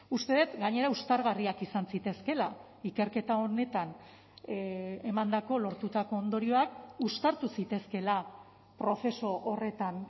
uste dut gainera uztargarriak izan zitezkeela ikerketa honetan emandako lortutako ondorioak uztartu zitezkeela prozesu horretan